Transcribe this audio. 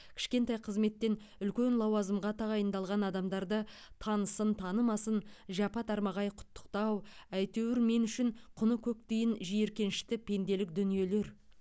кішкентай қызметтен үлкен лауазымға тағайындалған адамдарды танысын танымасын жапа тармағай құттықтау әйтеуір мен үшін құны көк тиын жиіркенішті пенделік дүниелер